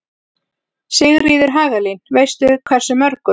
Sigríður Hagalín: Veistu hversu mörgum?